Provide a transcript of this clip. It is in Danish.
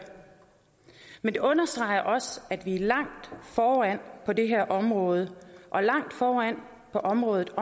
men det understreger også at vi er langt foran på det her område og langt foran på området